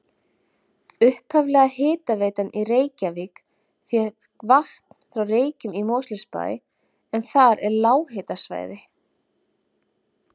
Upphaflega hitaveitan í Reykjavík fékk vatn frá Reykjum í Mosfellsbæ en þar er lághitasvæði.